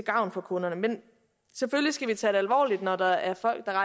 gavn for kunderne men selvfølgelig skal vi tage det alvorligt når der er folk der